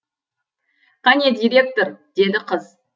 қане директор деді қыз